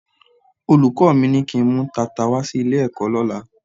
Olùkọ́ mi ní kí n mú tata wá sí ilé-ẹ̀kọ́ lọ́la.